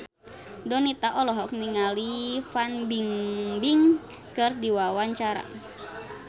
Donita olohok ningali Fan Bingbing keur diwawancara